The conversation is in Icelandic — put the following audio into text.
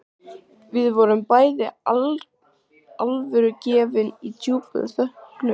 Við vorum bæði alvörugefin og í djúpum þönkum.